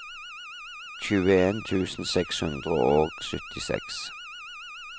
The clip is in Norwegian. tjueen tusen seks hundre og syttiseks